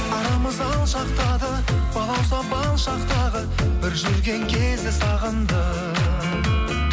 арамыз алшақтады балауса бал шақтағы бір жүрген кезді сағындым